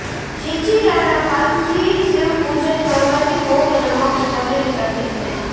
ચિચિરાના પાનથી શિવપુજન કરવાથી ભોગ અને મોક્ષ બંનેની પ્રાપ્તિ થાય છે